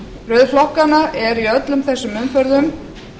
röð flokkanna er í öllum umferðum